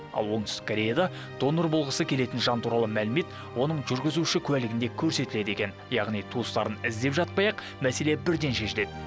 ал оңтүстік кореяда донор болғысы келетін жан туралы мәлімет оның жүргізуші куәлігінде көрсетіледі екен яғни туыстарын іздеп жатпай ақ мәселе бірден шешіледі